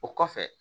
O kɔfɛ